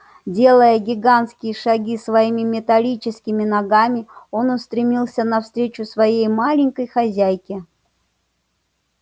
делая гигантские шаги своими металлическими ногами он устремился навстречу своей маленькой хозяйке